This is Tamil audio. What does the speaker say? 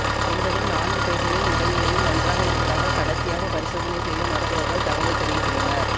என்பதும் நான்கு பேர்களின் உடல்நிலையும் நன்றாக இருப்பதாக கடைசியாக பரிசோதனை செய்த மருத்துவர்கள் தகவல் தெரிவித்துள்ளனர்